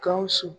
Gawusu